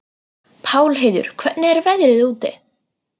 Pálheiður, hvernig er veðrið úti?